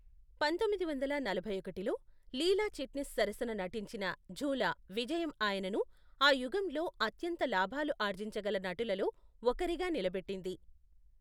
పంతొమ్మిది వందల నలభై ఒకటిలో, లీలా చిట్నీస్ సరసన నటించిన ఝూలా విజయం ఆయనను ఆ యుగంలో అత్యంత లాభాలు ఆర్జించగల నటులలో ఒకరిగా నిలబెట్టింది.